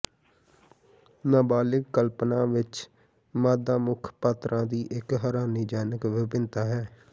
ਨਾਬਾਲਗ ਕਲਪਨਾ ਵਿਚ ਮਾਦਾ ਮੁੱਖ ਪਾਤਰਾਂ ਦੀ ਇਕ ਹੈਰਾਨੀਜਨਕ ਵਿਭਿੰਨਤਾ ਹੈ